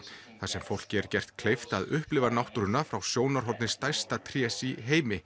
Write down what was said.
þar sem fólki er gert kleift að upplifa náttúruna frá sjónarhorni stærsta trés í heimi